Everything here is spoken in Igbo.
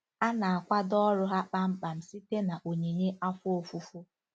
A na-akwado ọrụ ha kpamkpam site na onyinye afọ ofufo.